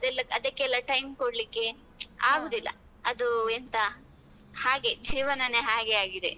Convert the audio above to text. ಅದಕ್ಕೆಲ್ಲ time ಕೊಡ್ಲಿಕೆ ಆಗುದಿಲ್ಲ. ಅದು ಎಂತ ಹಾಗೆ ಜೀವನನೇ ಹಾಗೆ ಆಗಿದೆ.